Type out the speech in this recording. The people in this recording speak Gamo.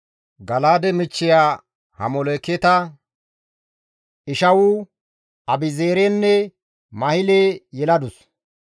Gala7aade michchiya Hamoleketa Ishawu, Abi7eezerenne Mahile yeladus.